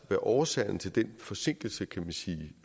årsagen til den forsinkelse kan man sige